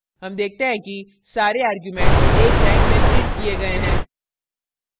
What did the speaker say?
हम देखते हैं कि सारे arguments एक line में printed किये गए हैं